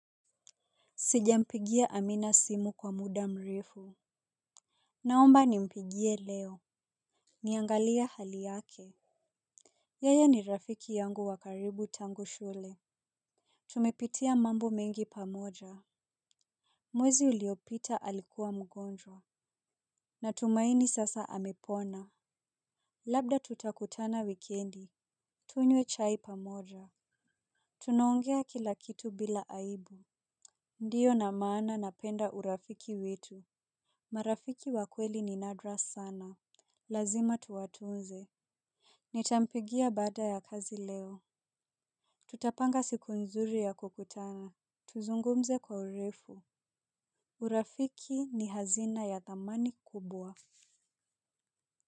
Sijampigia Amina simu kwa muda mrefu. Naomba nimpigie leo. Niangalie hali yake, yeye ni rafiki yangu wa karibu tangu shule. Tumepitia mambo mengi pamoja. Mwezi uliopita alikuwa mgonjwa. Natumaini sasa amepona. Labda tutakutana wikendi, tunywe chai pamoja. Tunaongea kila kitu bila aibu. Ndio na maana napenda urafiki wetu. Marafiki wa kweli ni nadra sana. Lazima tuwatunze. Nitampigia baada ya kazi leo. Tutapanga siku nzuri ya kukutana, tuzungumze kwa urefu. Urafiki ni hazina ya thamani kubwa.